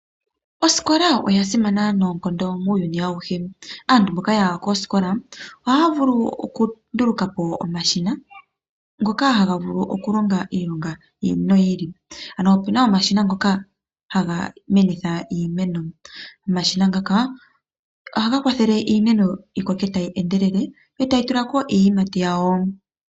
Osikola oya simana noonkondo muuyuni auhe. Aantu mboka yaya koosikola ohaya vulu okunduulukapo omashina ngoka haga vulu okulonga iilonga yi ili noyi ili. Ano opena omashina ngoka haga menitha iimeno. Omashina ngaka ohaga kwathele iimeno yi koke tayi endelele, yo tayi tulako iiyimati yawo.